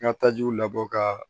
N ka tajiw labɔ ka